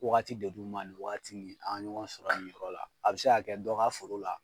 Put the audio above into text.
Wagati de d'u ma nin wagatii an ŋa ɲɔgɔn sɔrɔ nin yɔrɔ la. A bɛ se ka kɛ dɔ ka foro la